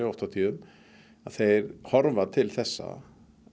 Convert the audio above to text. oft á tíðum að þeir horfa til þessa